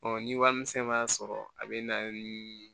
ni wari misɛn m'a sɔrɔ a bɛ na ni